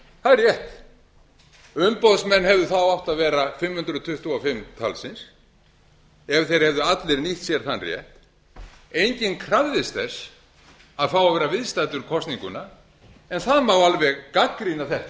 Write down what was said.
það er rétt umboðsmenn hefðu þá átt að vera fimm hundruð tuttugu og fimm talsins ef þeir hefðu allir nýtt sér þann rétt enginn krafðist þess að fá að vera viðstaddur kosninguna en það má alveg gagnrýna þetta